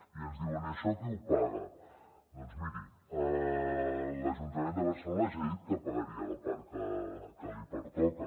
i ens diuen i això qui ho paga doncs miri l’ajuntament de barcelona ja ha dit que pagaria la part que li pertoca